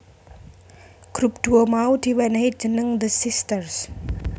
Grup duo mau di wenehi jeneng The Sisters